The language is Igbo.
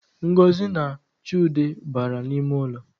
Ngozi na Chude bara n’ime ụlọ